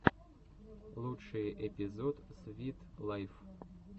лучший эпизод свит лайф